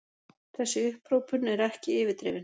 Þessi upphrópun er ekki yfirdrifin.